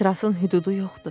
Etirazın hüdudu yoxdur.